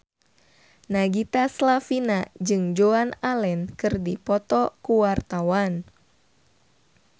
Nagita Slavina jeung Joan Allen keur dipoto ku wartawan